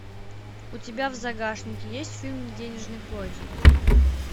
у тебя в загашнике есть фильм денежный поезд